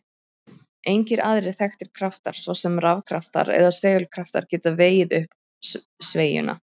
Engir aðrir þekktir kraftar, svo sem rafkraftar eða segulkraftar, geta vegið upp sveigjuna.